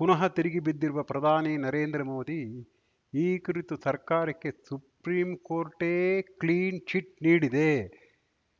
ಪುನಃ ತಿರುಗಿಬಿದ್ದಿರುವ ಪ್ರಧಾನಿ ನರೇಂದ್ರ ಮೋದಿ ಈ ಕುರಿತು ಸರ್ಕಾರಕ್ಕೆ ಸುಪ್ರೀಂ ಕೋರ್ಟೇ ಕ್ಲೀನ್‌ಚಿಟ್‌ ನೀಡಿದೆ